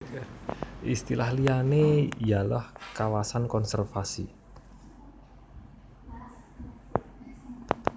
Istilah liyane yalah kawasan konservasi